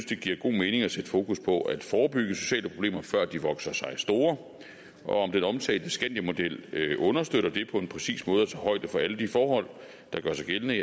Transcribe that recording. det giver god mening at sætte fokus på at forebygge sociale problemer før de vokser sig store og om den omtalte skandiamodel understøtter det på en præcis måde og tager højde for alle de forhold der gør sig gældende